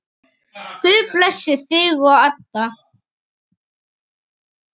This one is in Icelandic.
Guð blessi þig og Adda.